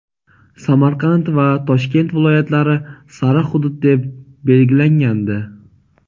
Samarqand va Toshkent viloyatlari "sariq" hudud deb belgilangandi.